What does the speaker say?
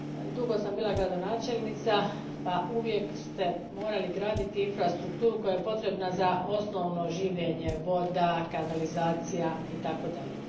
Dugo sam bila gradonačelnica pa uvijek ste morali graditi infrastrukturu koja je potrebna za osnovno življenje voda, kanalizacija i tako dalje.